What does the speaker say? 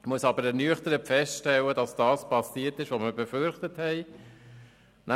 Ich muss allerdings ernüchtert feststellen, dass geschehen ist, was wir befürchtet haben.